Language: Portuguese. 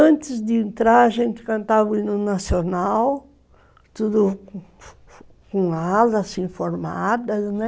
Antes de entrar, a gente cantava o hino nacional, tudo com alas, assim, formadas, né?